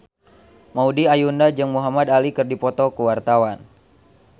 Maudy Ayunda jeung Muhamad Ali keur dipoto ku wartawan